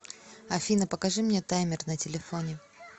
афина покажи мне таймер на телефоне